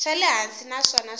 xa le hansi naswona swa